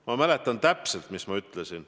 Ma mäletan täpselt, mis ma ütlesin.